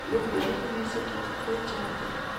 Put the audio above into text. Thungura nĩ nyamũ ciendete kwenja thĩĩ.